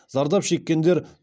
зардап шеккендер